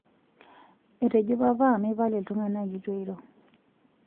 etejo papa mepal iltunganak itu iro